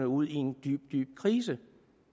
ud i en dyb dyb krise